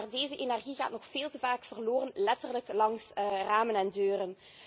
Maar deze energie gaat nog veel te vaak verloren, letterlijk langs ramen en deuren.